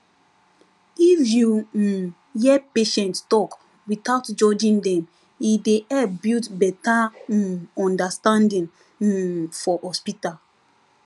if you um hear patient talk without judging dem e dey help build better um understanding um for hospital